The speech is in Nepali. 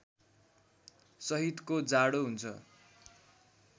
सहितको जाडो हुन्छ